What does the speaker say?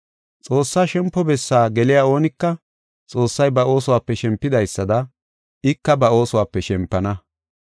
Xoossaa shempo bessaa geliya oonika, Xoossay ba oosuwape shempidaysada ika ba oosuwape shempana.